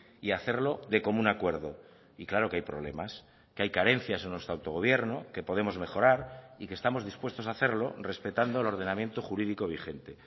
y hacerlo de común acuerdo y claro que hay problemas que hay carencias en nuestro autogobierno que podemos mejorar y que estamos dispuestos a hacerlo respetando el ordenamiento jurídico vigente